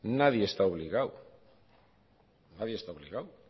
nadie está obligado nadie está obligado